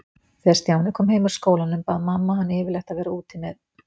Þegar Stjáni kom heim úr skólanum bað mamma hann yfirleitt að vera úti með